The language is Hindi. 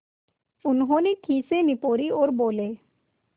उन्होंने खीसें निपोरीं और बोले